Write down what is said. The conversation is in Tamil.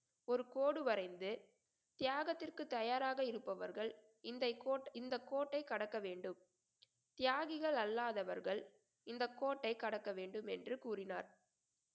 ஒரு கோடு வரைந்து தியாகத்துக்கு தயாராக இருப்பவர்கள் இந்தை கோட்~ இந்த கோட்டை கடக்க வேண்டும் தியாகிகள் அல்லாதவர்கள் இந்த கோட்டை கடக்க வேண்டும் என்று கூறினார்